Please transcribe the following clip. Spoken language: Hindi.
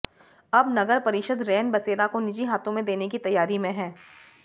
अब नगर परिषद रैन बसेरा को निजी हाथों में देने की तैयारी में है